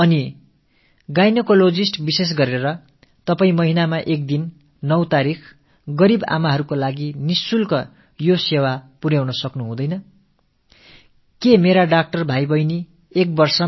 தாய்சேய் இருவரின் உயிரும் காப்பாற்றப்பட சிறப்பாக ஒவ்வொரு மாதமும் 9ஆம் தேதியன்று ஏழை அன்னையர்களுக்கு என இலவசமாக இப்படிப்பட்ட ஒரு சேவையை செய்ய முடியாதா என்று மகப்பேறு நல மருத்துவர்களிடம் நான் கேட்டுக் கொண்டேன்